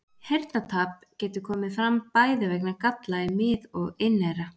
Heyrnartap getur komið fram bæði vegna galla í mið- og inneyra.